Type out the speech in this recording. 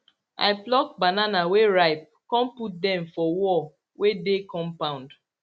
i pluck banana wey ripe con put dem for wall wey dey compound